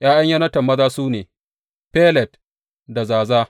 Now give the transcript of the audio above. ’Ya’yan Yonatan maza su ne, Felet da Zaza.